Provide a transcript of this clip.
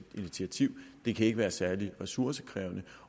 initiativ det kan ikke være særlig ressourcekrævende